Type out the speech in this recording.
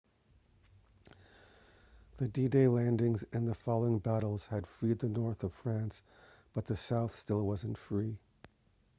the d-day landings and the following battles had freed the north of france but the south still wasn't free